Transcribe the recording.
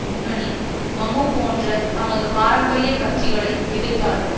முன்னணி மமமு போன்ற தமது பாரம்பரிய கட்சிகளை எதிர்த்தார்கள்